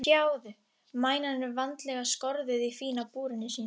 Sjáðu, mænan er vandlega skorðuð í fína búrinu sínu.